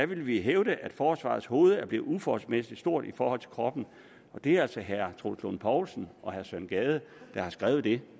vil vi hævde at forsvarets hoved er blevet uforholdsmæssigt stort i forhold til kroppen og det er altså herre troels lund poulsen og herre søren gade der har skrevet det